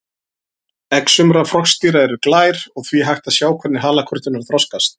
Egg sumra froskdýra eru glær og því hægt að sjá hvernig halakörturnar þroskast.